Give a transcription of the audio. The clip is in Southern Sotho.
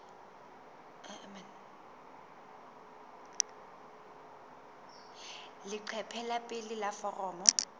leqephe la pele la foromo